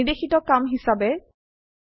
নির্দেশিত কাম হিসাবে 1